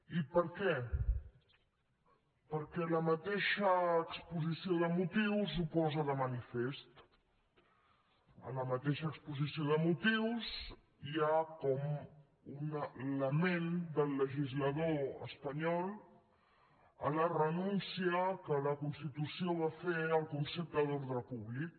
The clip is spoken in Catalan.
i per què perquè la mateixa exposició de motius ho posa de manifest a la mateixa exposició de motius hi ha com un lament del legislador espanyol a la renúncia que la constitució va fer al concepte d’ordre públic